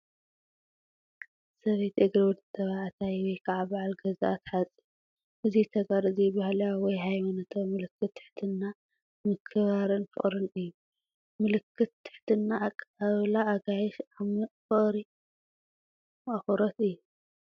ሰበይቲ እግሪ ወዲ ተባዕታይ ወይ ከዓ በዓል ገዝኣ ትሓጽብ። እዚ ተግባር እዚ ባህላዊ ወይ ሃይማኖታዊ ምልክት ትሕትና፡ ምክብባርን ፍቕርን እዩ። ምልክት ትሕትና፡ ኣቀባብላ ኣጋይሽ፡ ዓሚቕ ፍቕሪ/ኣኽብሮት እዩ።